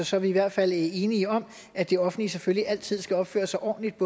så er vi i hvert fald enige om at det offentlige selvfølgelig altid skal opføre sig ordentligt